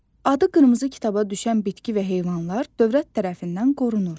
Adı qırmızı kitaba düşən bitki və heyvanlar dövlət tərəfindən qorunur.